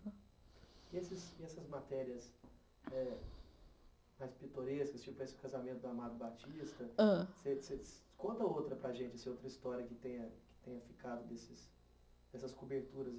E essas essas matérias eh mais pitorescas, tipo esse casamento do Amado Batista, conta outra para a gente, se é outra história que tenha ficado desses dessas coberturas